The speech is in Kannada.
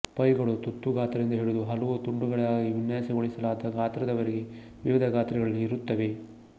ಪೈಗಳು ತುತ್ತು ಗಾತ್ರದಿಂದ ಹಿಡಿದು ಹಲವು ತುಂಡುಗಳಿಗಾಗಿ ವಿನ್ಯಾಸಗೊಳಿಸಲಾದ ಗಾತ್ರಗಳವರೆಗೆ ವಿವಿಧ ಗಾತ್ರಗಳಲ್ಲಿ ಇರುತ್ತವೆ